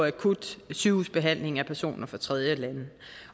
akut sygehusbehandling af personer fra tredjelande